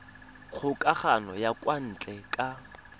kgokagano ya kwa ntle ka